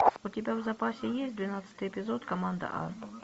у тебя в запасе есть двенадцатый эпизод команда а